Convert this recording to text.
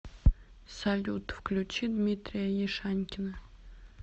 салют включи дмитрия яшанькина